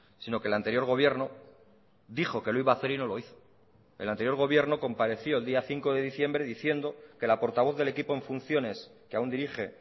sino que el anterior gobierno dijo que lo iba a hacer y no lo hizo el anterior gobierno compareció el día cinco de diciembre diciendo que la portavoz del equipo en funciones que aún dirige